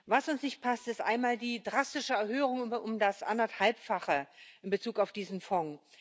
Was uns nicht passt, ist einmal die drastische Erhöhung um das Anderthalbfache in Bezug auf diesen Fonds.